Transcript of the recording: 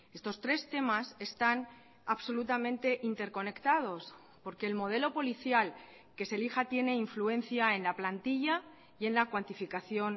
estos tres temas están absolutamente interconectados porque el modelo policial que se elija tiene influencia en la plantilla y en la cuantificación